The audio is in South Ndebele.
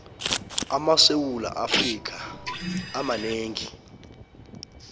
amasewula afrika amanengi